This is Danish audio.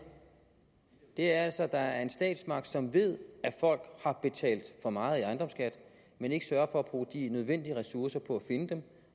er at der altså er en statsmagt som ved at folk har betalt for meget i ejendomsskat men ikke sørger for at bruge de nødvendige ressourcer på at finde dem